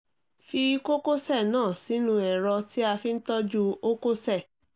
fi kókósẹ̀ náà sínú ẹ̀rọ tí à fi ń tọọ́jú ókósẹ̀